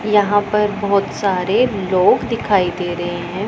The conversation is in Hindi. यहां पर बहोत सारे लोग दिखाई दे रहे हैं।